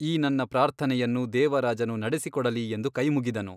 ಈ ನನ್ನ ಪ್ರಾರ್ಥನೆಯನ್ನು ದೇವರಾಜನು ನಡೆಸಿಕೊಡಲಿ ಎಂದು ಕೈಮುಗಿದನು.